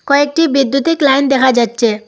কয়েকটি বিদ্যুতিক লাইন দেখা যাচ্ছে।